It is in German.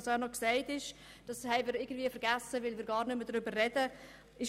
Das möchte ich einfach erwähnt haben, auch wenn es nicht unser Ziel ist.